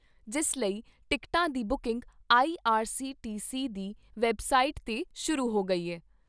ਜਿਸ ਲਈ ਟਿਕਟਾਂ ਦੀ ਬੁਕਿੰਗ ਆਈਆਰਸੀਟੀਸੀ ਦੀ ਵੈਬਸਾਈਟ 'ਤੇ ਸ਼ੁਰੂ ਹੋ ਗਈ ਏ।